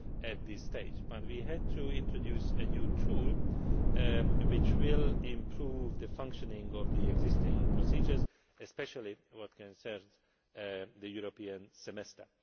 at this stage, but we had to introduce a new tool which will improve the functioning of the existing procedures, especially as regards the European Semester.